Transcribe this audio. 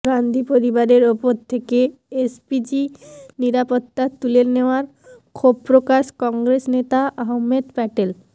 গান্ধী পরিবারের উপর থেকে এসপিজি নিরাপত্তা তুলে নেওয়ায় ক্ষোভ প্রকাশ কংগ্রেস নেতা আহমেদ প্যাটেল